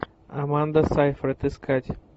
аманда сайфред искать